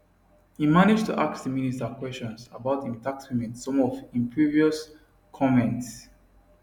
im manage to ask di minister kwesions about im tax payment some of im previous comments